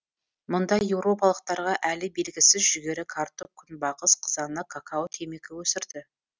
мұнда еуропалықтарға әлі белгісіз жүгері картоп күнбағыс қызанақ какао темекі өсірді